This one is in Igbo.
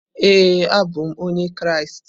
Ee, abụ m onye Kraịst.